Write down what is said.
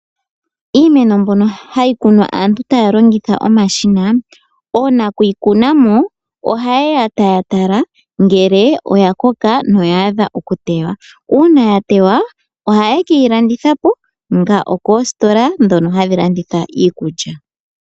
Iimeno mbyono hayi kunwa aantu taya longitha omashina, oonakuyi kunamo ohayeya taya tala ngele oya koka, noya adha okuteywa. Uuna yateywa ohaye keyi landithapo, koositola ndhoka hadhi landitha iikulya.